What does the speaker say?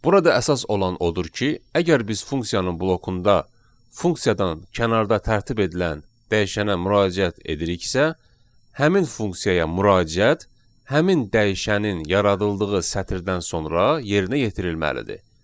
Burada əsas olan odur ki, əgər biz funksiyanın blokunda funksiyadan kənarda tərtib edilən dəyişənə müraciət ediriksə, həmin funksiyaya müraciət həmin dəyişənin yaradıldığı sətirdən sonra yerinə yetirilməlidir.